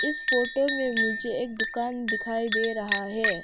इस फोटो में मुझे एक दुकान दिखाई दे रहा हैं।